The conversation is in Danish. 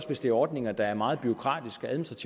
hvis det er ordninger der er meget bureaukratiske og